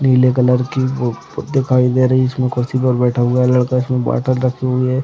नीले कलर की बुक दिखाई दे रही है। इसमें कुर्सी पर बैठा हुआ लड़का इसमें बोतल रखी हुई है।